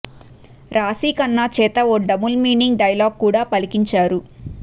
రాశీ ఖన్నా చేత ఓ double meaning dialogue కూడా పలికించారు